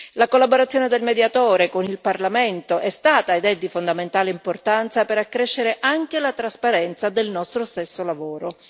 La collaborazione del Mediatore con il Parlamento è stata ed è di fondamentale importanza per accrescere anche la trasparenza del nostro stesso lavoro.